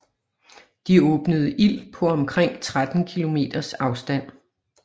De åbnede ild på omkring 13 km afstand